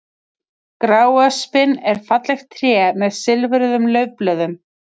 Gráöspin er fallegt tré með silfruðum laufblöðum.